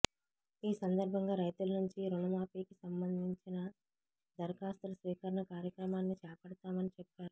ఈ సందర్భంగా రైతుల నుంచి రుణ మాఫీకి సంబంధంచిన దరఖాస్తుల స్వీకరణ కార్యక్రమాన్ని చేపడతామని చెప్పారు